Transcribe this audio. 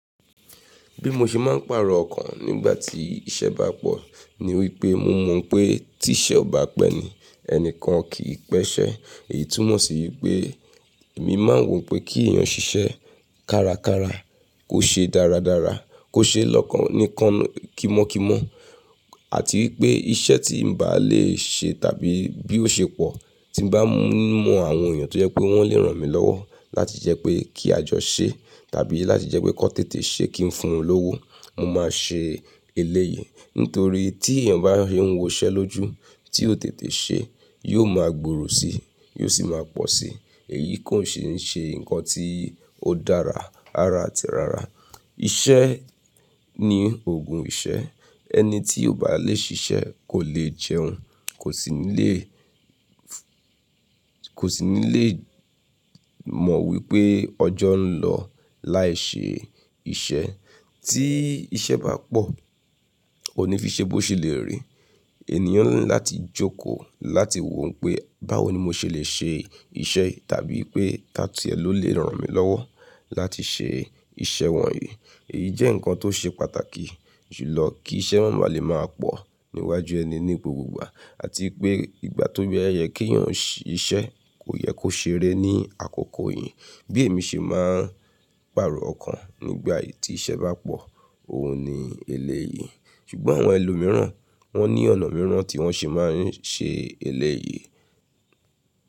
Bí mo ṣe máa ń pàrọ̀ ọkàn nígbà tí iṣẹ́ bá pọ̀ ní wípé mo mọ̀ pé tí iṣẹ́ ò bá pẹ́ ni, ẹnikan kì í pẹ́ ṣẹ́. Èyí túmọ̀ sí pé èmi máa ń wo pé kí èèyàn ṣiṣẹ́ kárakára, kó ṣe dáradára, kó ṣe lọ́kàn-nìkan kimọ́kimọ́ àti wípé iṣẹ́ tí n bá lè ṣe tàbí bí ó ṣe pọ̀ tí bá ń mọ àwọn èèyàn tó yẹ pé wọ́n lè ràn mí lọ́wọ́ láti jẹ́ pé kí a jọ ṣe tàbí láti jẹ́ pé kó tètè ṣe kí n fún wọn lówó, mo máa ṣe eléyìí. Nítorí tí èèyàn bá ń wo iṣẹ́ lójú tí ó tètè ṣe, yóò máa gbòòrò síi, yóò sì máa pọ̀ síi. Èyí kò ṣe é ṣe nǹkan tí ó dára, rara àti rara. Iṣẹ́ ní òògùn ìṣẹ́. Ẹni tí ò bá lè ṣiṣẹ́ kò lè jẹun, kò sì ní lè, kò sì ní lè mọ̀ wípé ọjọ́ ń lọ láì ṣe iṣẹ́. Tí iṣẹ́ bá pọ̀, o ní fi ṣe bó ṣe lè rí. Ènìyàn ní láti jókòó láti wò ó pé báwo ni mo ṣe lè ṣe iṣẹ́ yìí tàbí pé taàní ló lè ràn mí lọ́wọ́ láti ṣe iṣẹ́ wọ̀nyí. Èyí jẹ́ nǹkan tó ṣe pàtàkì julọ kí iṣẹ́ má ba lè máa pọ̀ níwájú ẹni ní ipò gbogbo àti pé ìgbà tó bẹ́ẹ́, ẹyẹ kí èèyàn ṣíṣe kò yẹ kó ṣeré ní àkókò yìí. Bí èmi ṣe máa ń pàrọ̀ ọkàn nígbà tí iṣẹ́ bá pọ̀, òun ni eléyìí. Ṣùgbọ́n àwọn ẹlòmíràn wọ́n ní ọ̀nà mìíràn tí wọ́n ṣe máa ń ṣe eléyìí.